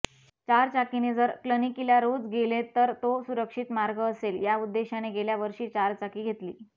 चारचाकीने जर क्लनिकिला रोज गेले तर तो सुरक्षति मार्ग असेल या उद्देशाने गेल्यावर्षी चारचाकी घेतली